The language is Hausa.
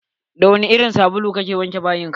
Da wani irin sabulu ka ke wanka?